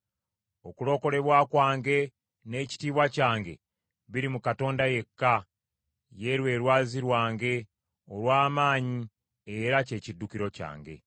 Okulokolebwa kwange n’ekitiibwa kyange biri mu Katonda yekka; ye lwe lwazi lwange olw’amaanyi era kye kiddukiro kyange.